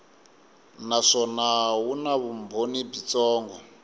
naswona wu na vumbhoni byitsongo